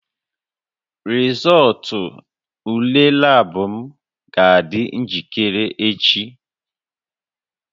Rịzọụltụ ule lab m ga-adị njikere echi